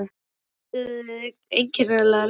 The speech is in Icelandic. Funduð þið einkennilega lykt?